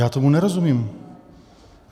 Já tomu nerozumím.